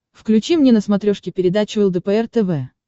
включи мне на смотрешке передачу лдпр тв